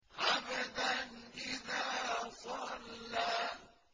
عَبْدًا إِذَا صَلَّىٰ